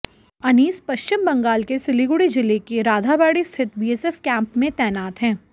अनीस पश्चिम बंगाल के सिलिगुड़ी जिले के राधाबाड़ी स्थित बीएसएफ कैंप में तैनात हैं